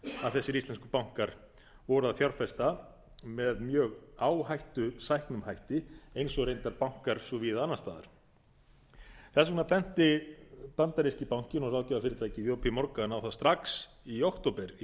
að þessir íslensku bankar voru að fjárfesta með mjög áhættusæknum hætti eins og reyndar bankar svo víða annars staðar þess vegna benti bandaríski bankinn og ráðgjafarfyrirtækið jp morgan á það strax í október í